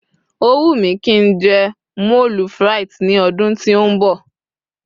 o wu mi ki njé moule frites ní ọdún tí o nbọ